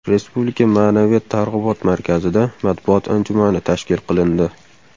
Respublika Ma’naviyat targ‘ibot markazida matbuot anjumani tashkil qilindi.